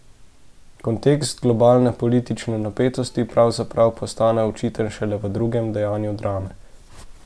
Kontekst globalne politične napetosti pravzaprav postane očiten šele v drugem dejanju drame.